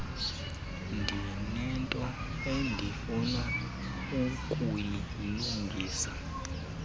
ndinento endifuna ukuyilungisa